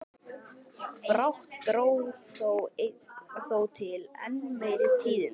Brátt dró þó til enn meiri tíðinda.